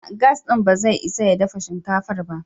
A'a! Gas ɗin ba zai isa ya dafa shinkafar ba.